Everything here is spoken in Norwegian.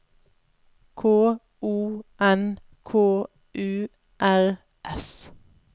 K O N K U R S